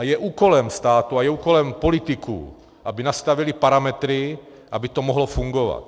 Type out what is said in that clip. A je úkolem státu a je úkolem politiků, aby nastavili parametry, aby to mohlo fungovat.